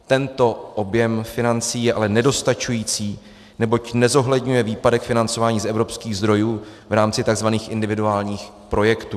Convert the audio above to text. Tento objem financí je ale nedostačující, neboť nezohledňuje výpadek financování z evropských zdrojů v rámci tzv. individuálních projektů.